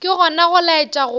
ke gona go laetša go